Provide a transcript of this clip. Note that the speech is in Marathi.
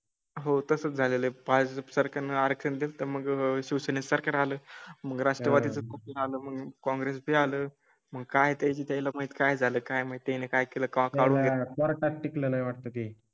हो तसं झालेले पाच सरकणार केले तर मग शिवसेने सारखे झाले. मग राष्ट्रवादी चं झालं काँग्रेसचे आलं मग काय त्याला माहीत काय झालं? काय म्हणते काय केलंएम काळ टिक लं नाही वाटते